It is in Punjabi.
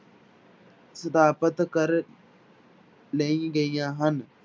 ਸਥਾਪਿਤ ਕਰ ਲਈ ਗਈਆਂ ਹਨ।